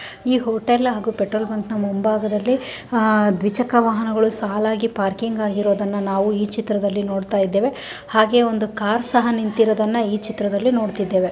ಈ ಹೋಟೆಲ್ ಆಗು ಹಾಗೂ ಪೆಟ್ರೋಲ್ ಬ್ಯಾಂಕ್ ಮುಂಭಾಗದಲ್ಲಿ ದ್ವಿಚಕ್ರ ವಾಹನಗಳು ಸಾಲಾಗಿ ಪಾರ್ಕಿಂಗ್ ಆಗಿರುವುದನ್ನು ನಾವು ಈ ಚಿತ್ರದಲ್ಲಿ ನೋಡುತ್ತಿದ್ದೇವೆ ಹಾಗೆ ಒಂದು ಕಾರ್ ಸಹ ನಿಂತ್ತಿರೊದನ್ನ ಈ ಚಿತ್ರದಲ್ಲಿ ನೋಡತ್ತಿದ್ದೇವೆ.